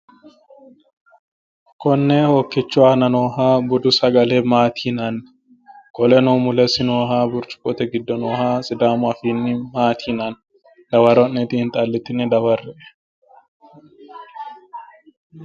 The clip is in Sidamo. konne hokkichu aana nooha budu sagale maati yinanni qoleno mulesi nooha burcuqqote giddo noo maati yinani dawaro xiinxallitine dawarre''e?